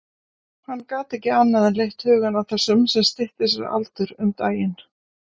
Hann gat ekki annað en leitt hugann að þessum sem stytti sér aldur um daginn.